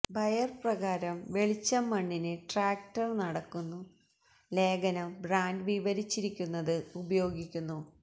buyer പ്രകാരം വെളിച്ചം മണ്ണിന് ട്രാക്ടർ നടക്കുന്നു ലേഖനം ബ്രാൻഡ് വിവരിച്ചിരിക്കുന്നത് ഉപയോഗിക്കുന്നു